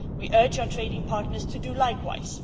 We urge our trading partners to do likewise.